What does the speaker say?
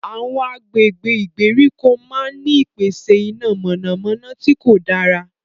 Awọn agbègbè ìgbèríko máà n ni ìpèsè iná mọnamọna tí kò dára